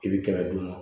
I bi kɛmɛ duuru